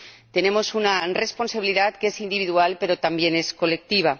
Tenemos una responsabilidad que es individual, pero también es colectiva.